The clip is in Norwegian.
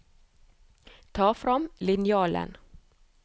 Ta frem linjalen